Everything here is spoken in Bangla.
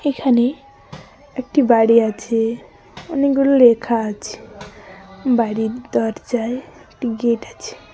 এখানে একটি বাড়ি আছে অনেকগুলো লেখা আছে বাড়ির দরজায় একটি গেট আছে।